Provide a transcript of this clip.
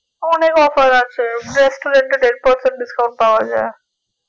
অনেক offer আছে restaurant এ দেড় percent discounts পাওয়া যাই